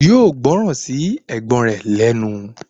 Yóò gbọ́ran sí ẹ̀gbọ́n rẹ̀ lẹ́nu